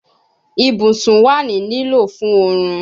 Ibusun wa ni lilo fun orun